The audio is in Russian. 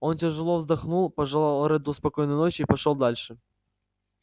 он тяжело вздохнул пожелал редду спокойной ночи и пошёл дальше